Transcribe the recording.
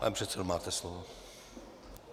Pane předsedo, máte slovo.